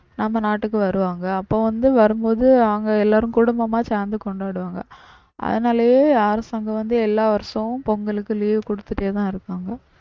நம்ம நாட்டுக்கு வருவாங்க அப்ப வந்து வரும்போது அவங்க எல்லாரும் குடும்பமா சேர்ந்து கொண்டாடுவாங்க அதுனாலயே அரசாங்கம் வந்து எல்லா வருஷமும் பொங்கலுக்கு leave கொடுத்துடேதான் இருக்காங்க